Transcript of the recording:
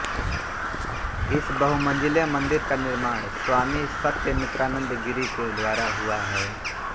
इस बहुमंजिले मन्दिर का निर्माण स्वामी सत्यमित्रानंद गिरि के द्वारा हुआ है